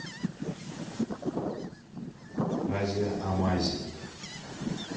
азия амазинг